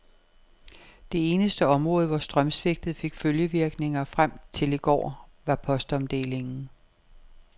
Det eneste område, hvor strømsvigtet fik følgevirkninger frem til i går, var postomdelingen.